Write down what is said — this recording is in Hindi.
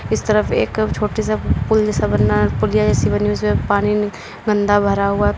इस तरफ एक छोटी सी पुल जैसा बना पुलिया जैसी बनी उसमें पानी गंदा भरा हुआ है।